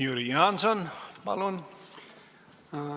Jüri Jaanson, palun!